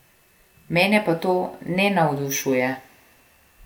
Mene pa to ne navdušuje.